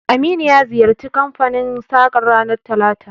Aminu ya ziyarci kanfanin sakar ranar talata